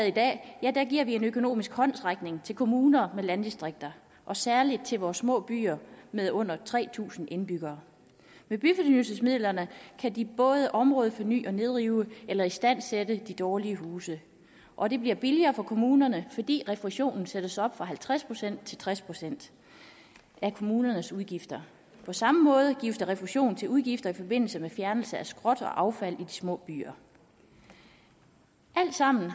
i dag giver vi en økonomisk håndsrækning til kommuner med landdistrikter og særlig til vores små byer med under tre tusind indbyggere med byfornyelsesmidlerne kan de både områdeforny og nedrive eller istandsætte de dårlige huse og det bliver billigere for kommunerne fordi refusionen sættes op fra halvtreds procent til tres procent af kommunernes udgifter på samme måde gives der refusion til udgifter i forbindelse med fjernelse af skrot og affald i de små byer alt sammen